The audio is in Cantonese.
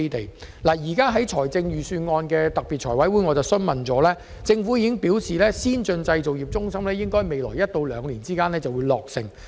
我曾在有關預算案的財務委員會特別會議上就此提出質詢，政府回覆時表示，先進製造業中心應可在未來一兩年落成。